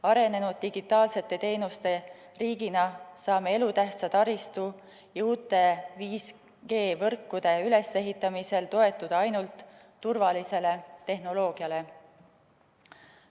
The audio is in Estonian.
Arenenud digitaalsete teenuste riigina saame elutähtsa taristu ja uute 5G‑võrkude ülesehitamisel toetuda ainult turvalisele tehnoloogiale.